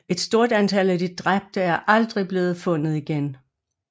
Et stort antal af de dræbte er aldrig blevet fundet igen